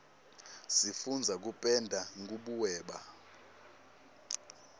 sifundza kupenda nkubuweba